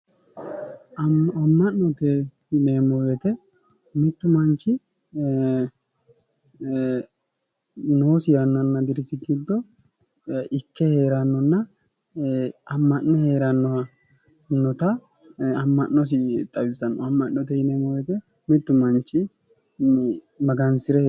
Ama'note yineemo woyite mittu manichi noosi yannana dirisi giddo ikke heerannona ama'ne heerannota ama'nosi xawisanno ama'note yineemo woyite mittu manichi maganisire